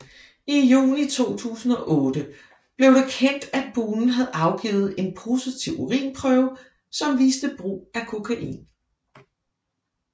I juni 2008 blev det kendt at Boonen havde afgivet en en positiv urinprøve som viste brug af kokain